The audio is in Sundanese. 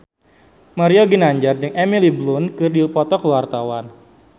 Mario Ginanjar jeung Emily Blunt keur dipoto ku wartawan